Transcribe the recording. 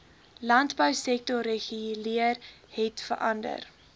landbousektor reguleer hetverander